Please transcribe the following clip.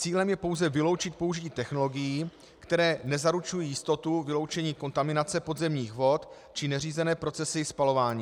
Cílem je pouze vyloučit použití technologií, které nezaručují jistotu vyloučení kontaminace podzemních vod či neřízené procesy spalování.